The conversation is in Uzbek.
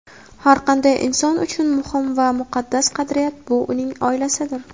Har qanday inson uchun muhim va muqaddas qadriyat – bu uning oilasidir.